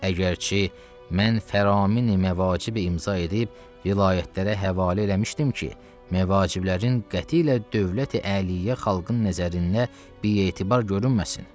Əgərçi mən fəramin-i məvacib imza edib, vilayətlərə həvalə eləmişdim ki, məvaciblərin qətiylə dövləti-əliyyə xalqın nəzərində bietibar görünməsin.